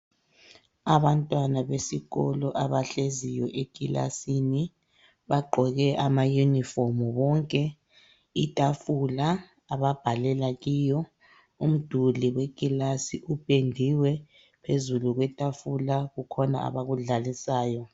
Abantwana besikolo abahleziyo ekilasini, bagqoke amayinifomu bonke. Itafula ababhalela kiyo, umduli wekilasi upendiwe. Phezulu kwetafula kukhona abakudlalisayo.